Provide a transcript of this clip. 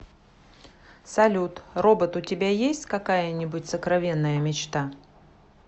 салют робот у тебя есть какая нибудь сокровенная мечта